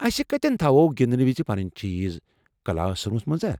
اَسہِ کتٮ۪ن تھاوو گنٛدنہٕ وز پنٕنہِ چیٖز، کلاس روٗمس منٛز ہا؟